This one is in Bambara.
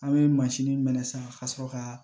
An bɛ mansin minɛ san ka sɔrɔ ka